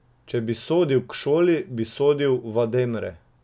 Če bi sodil k šoli, bi sodil v Ademre.